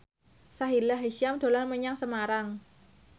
Sahila Hisyam dolan menyang Semarang